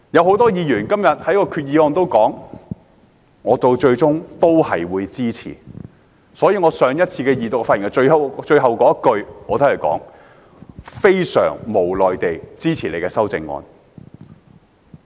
很多議員表示最終都會支持修正案，而我上次二讀發言時的最後一句是"非常無奈地支持你的修正案。